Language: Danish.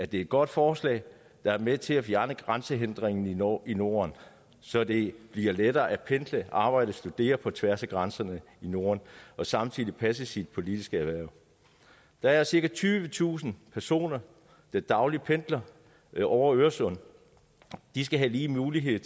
det er et godt forslag der er med til at fjerne grænsehindringer i norden i norden så det bliver lettere at pendle arbejde og studere på tværs af grænserne i norden og samtidig passe sit politiske hverv der er cirka tyvetusind personer der dagligt pendler over øresund og de skal have lige mulighed